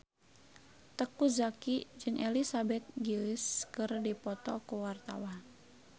Teuku Zacky jeung Elizabeth Gillies keur dipoto ku wartawan